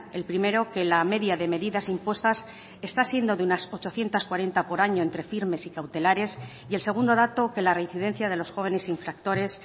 el primero que la media de medidas impuestas está siendo de unas ochocientos cuarenta por año entre firmes y cautelares y el segundo dato que la reincidencia de los jóvenes infractores